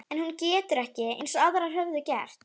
En hún getur ekki- eins og aðrar höfðu gert